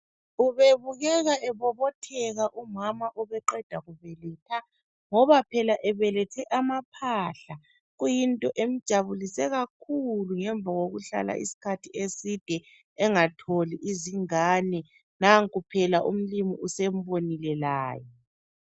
Ubebukeka ebobotheka umama obeqeda kubeletha. Ngoba phela ebelethe amaphahla ,kuyinto emjabulise kakhulu .Ngemva kokuhlala isikhathi eside engatholi izingane Nanko phela umlimu usembonile laye.